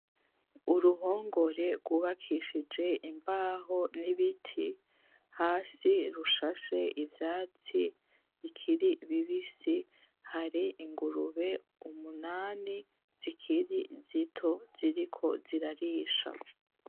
Uruhongore rw'ubakishije imbaho n'ibiti, hasi rushashe ivyatsi bikiri bibisi. Hari ingurube umunani zikiri zito ziriko zirarisha.